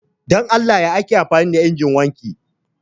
Dan Allah ya ake amfani da injin wanki